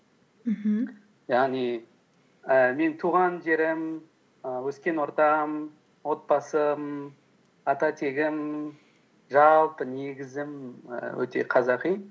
мхм яғни ііі мен туған жерім і өскен ортам отбасым ата тегім жалпы негізім і өте қазақи